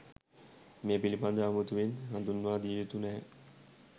මේ පිළිබඳව අමුතුවෙන් හඳුන්වා දියයුතු නැහැ